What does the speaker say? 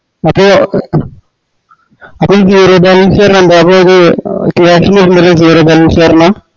അപ്പോ അപ്പോ